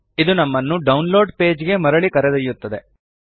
ಇದು ನಮ್ಮನ್ನು download page ಗೆ ಮರಳಿ ಕರೆದೊಯ್ಯುತ್ತದೆ